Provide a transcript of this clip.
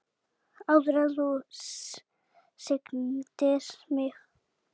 Áður en þú signdir mig.